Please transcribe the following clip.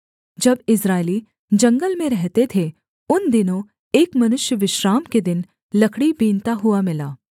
जब इस्राएली जंगल में रहते थे उन दिनों एक मनुष्य विश्राम के दिन लकड़ी बीनता हुआ मिला